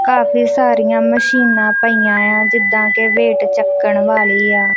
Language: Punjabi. ਕਾਫੀ ਸਾਰੀਆਂ ਮਸ਼ੀਨਾਂ ਪਈਆਂਯਾਂ ਜਿੱਦਾਂ ਕੇ ਵੇਟ ਛੱਕਣ ਵਾਲੀ ਆ।